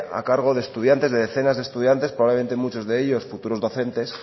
a cargo de estudiantes de decenas de estudiantes probablemente muchos de ellos futuros docentes